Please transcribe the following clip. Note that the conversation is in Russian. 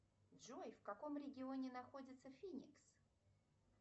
джой в каком регионе находится финикс